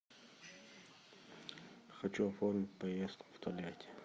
хочу оформить поездку в тольятти